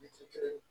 kelen